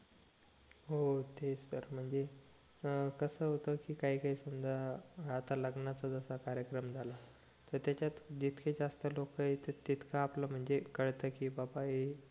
हो तेच तर म्हणजे कस होत कि काही काही समजा आता लग्नाचा जसा कार्यक्रम झाला त त्याच्यात जितके जास्त लोक येतात तितकं आपलं म्हणजे कळत कि बाबा हे